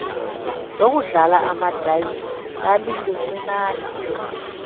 lokudlala amadayisi lalilincinane